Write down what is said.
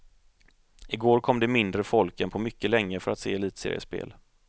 Igår kom det mindre folk än på mycket länge för att se elitseriespel.